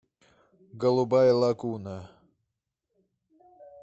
голубая лагуна